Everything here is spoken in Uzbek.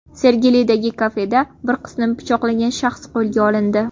Sergelidagi kafeda bir qizni pichoqlagan shaxs qo‘lga olindi.